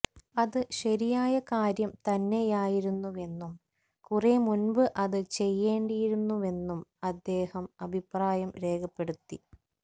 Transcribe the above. അത് ശരിയായ കാര്യം തന്നെയായിരുന്നുവെന്നും കുറെ മുന്പ് അത് ചെയ്യേണ്ടിയിരുന്നുവെന്നും അദ്ദേഹം അഭിപ്രായം രേഖപ്പെടുത്തി